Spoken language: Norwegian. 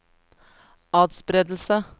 atspredelse